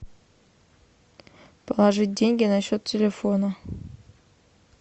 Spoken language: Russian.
положить деньги на счет телефона